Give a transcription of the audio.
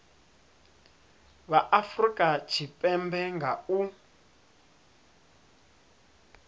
vha afurika tshipembe nga u